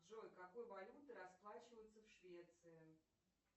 джой какой валютой расплачиваются в швеции